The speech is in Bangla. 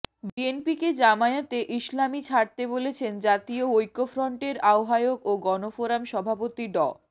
বিএনপিকে জামায়াতে ইসলামী ছাড়তে বলেছেন জাতীয় ঐক্যফ্রন্টের আহ্বায়ক ও গণফোরাম সভাপতি ড